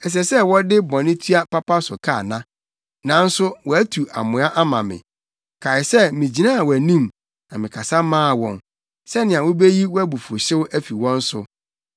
Ɛsɛ sɛ wɔde bɔne tua papa so ka ana? Nanso wɔatu amoa ama me. Kae sɛ migyinaa wʼanim na mekasa maa wɔn, sɛnea wubeyi wʼabufuwhyew afi wɔn so.